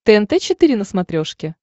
тнт четыре на смотрешке